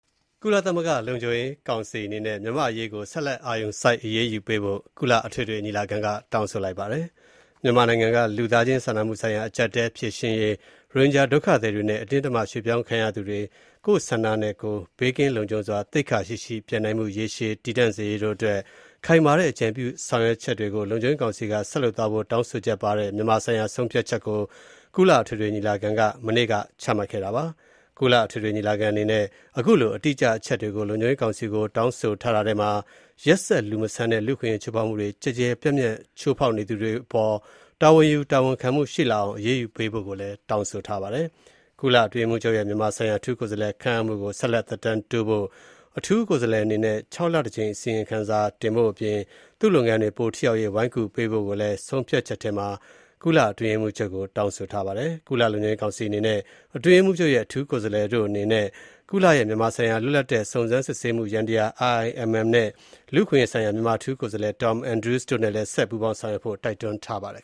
ကုလသမဂ္ဂလုံခြုံရေးကောင်စီအနေနဲ့ မြန်မာ့အရေးကို ဆက်လက်အာရုံစိုက် အရေးယူပေးဖို့ ကုလအထွေထွေညီလာခံက တောင်းဆိုလိုက်ပါတယ်။ မြန်မာနိုင်ငံက လူ့သားချင်းစာနာမှုဆိုင်ရာ အကျပ်အတည်းဖြေရှင်းရေး၊ ရိုဟင်ဂျာဒုက္ခသည်တွေနဲ့ အတင်းအဓမ္မရွှေ့ပြောင်းခံရသူတွေ ကိုယ့်ဆန္ဒနဲ့ ဘေးကင်းလုံခြုံစွာ သိက္ခာရှိရှိပြန်နိုင်မှု ရေရှည်တည်တံ့စေရေးတို့အတွက် ခိုင်မာတဲ့အကြံပြုဆောင်ရွက်ချက်တွေ လုံခြုံရေးကောင်စီက ဆက်လုပ်သွားဖို့ တောင်းဆိုချက်ပါတဲ့ မြန်မာနိုင်ငံဆိုင်ရာ ဆုံးဖြတ်ချက်တခုကို ကုလသမဂ္ဂ အထွေထွေညီလာခံက ဒီဇင်ဘာ ၁၅ ရက် ကြာသပတေးနေ့က ချမှတ်ခဲ့တာပါ။ ကုလသမဂ္ဂအထွေထွေညီလာခံအနေနဲ့ အခုလို အတိအကျအချက်တွေ လုံခြုံရေးကောင်စီကို တောင်းဆိုထားတာထဲမှာ ရက်စက် လူမဆန်တဲ့ လူ့အခွင့်အရေးချိုးဖောက်မှုတွေ ကျယ်ကျယ်ပြန့်ပြန့်ချိုးဖောက်သူတွေအပေါ် တာဝန်ယူတာဝန်ခံမှုရှိလာအောင် အရေးယူပေးဖို့လည်း တောင်းဆိုထားပါတယ်။ ကုလအတွင်းရေးမှူးချုပ်ရဲ့ မြန်မာဆိုင်ရာအထူးကိုယ်စားလှယ်ခန့်အပ်မှုကို ဆက်လက်သက်တမ်းတိုးဖို့၊ အထူးကိုယ်စားလှယ်အနေနဲ့ ၆ လတကြိမ်အစီရင်ခံဖို့အပြင် သူ့လုပ်ငန်းတွေပိုထိရောက်ရေး ဝိုင်းကူပေးဖို့ကိုလည်း ဆုံးဖြတ်ချက်ထဲမှာ ကုလသမဂ္ဂအတွင်းရေးမှူးချုပ်ကို တောင်းဆိုထားပါတယ်။ ကုလလုံခြုံရေးကောင်စီနဲ့ အတွင်းရေးမှူးချုပ်ရဲ့ အထူးကိုယ်စားလှယ်တို့ အနေနဲ့ ကုလရဲ့မြန်မာဆိုင်ရာ လွတ်လပ်တဲ့ စုံစမ်းစစ်ဆေးမှုယန္တရား (IIMM) နဲ့ လူ့အခွင့်အရေးဆိုင်ရာ မြန်မာအထူးကိုယ်စားလှယ် Tom Andrews တို့နဲ့လည်း ဆက်ပူးပေါင်းဆောင်ရွက်ဖို့ တိုက်တွန်းထားပါတယ်